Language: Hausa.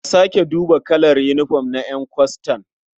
A sake duba kalar yinifom na ƴan kwastan.